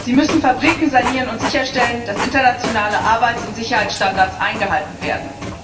Sie müssen Fabriken sanieren und sicherstellen, dass internationale Arbeits und Sicherheitsstandards eingehalten werden.